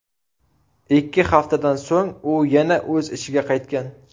Ikki haftadan so‘ng u yana o‘z ishiga qaytgan .